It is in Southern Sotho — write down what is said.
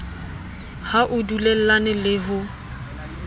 ha o dulellane le ho